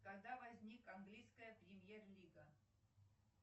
когда возник английская премьер лига